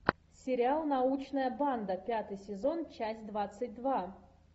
сериал научная банда пятый сезон часть двадцать два